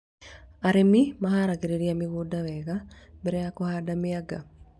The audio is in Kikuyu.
Arĩmi maharagĩrĩria mĩgũnda wega mbere ya kũhanda mĩanga